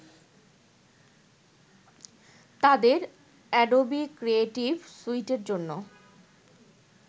তাদের Adobe creative স্যুইটের জন্য